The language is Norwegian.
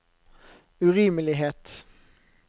urimelighet